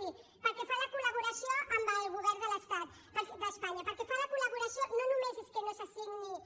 miri pel que fa a la col·laboració amb el govern de l’estat d’espanya no només és que no se signi